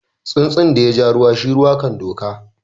Tsuntsun da ya ja ruwa shi ruwa kan doka.